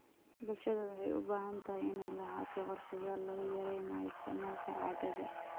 Bulshada waxay u baahan tahay inay lahaato qorshayaal lagu yareynayo isticmaalka caagagga.